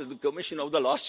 the climate killer